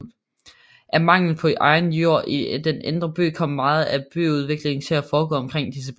Af mangel på egnet jord i den indre by kom meget af byudviklingen til at foregå omkring disse byer